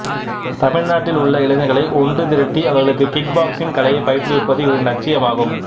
தமிழ்நாட்டில் உள்ள இளைஞர்களை ஒன்று திரட்டி அவர்களுக்கு கிக் பாக்சிங் கலையை பயிற்றுவிப்பது இவரின் லட்சியமாகும்